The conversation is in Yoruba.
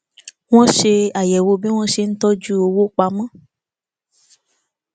wọn ṣe àyẹwò bí wọn ṣe ń tọjú owó pamọ